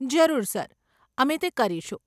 જરૂર સર, અમે તે કરીશું.